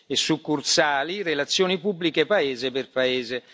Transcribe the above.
e succursali relazioni pubbliche paese per paese.